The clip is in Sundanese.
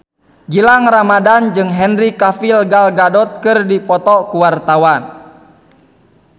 Gilang Ramadan jeung Henry Cavill Gal Gadot keur dipoto ku wartawan